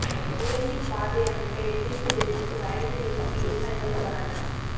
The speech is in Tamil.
உயர்மின் பாதை அமைக்க எதிர்ப்பு தெரிவித்து வயலில் இறங்கி விவசாயிகள் போராட்டம்